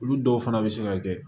Olu dɔw fana bɛ se ka kɛ